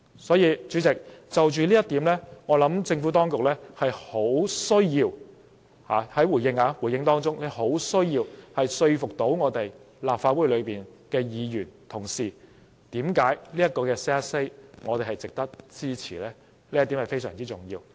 因此，主席，就着這一點，我認為政府當局作回應時，必須說服立法會議員，為何這項修正案值得我們支持，這一點非常重要。